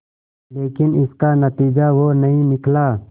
लेकिन इसका नतीजा वो नहीं निकला